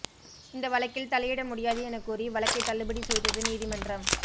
இந்த வழக்கில் தலையிட முடியாது என கூறி வழக்கை தள்ளுபடி செய்தது நீதிமன்றம்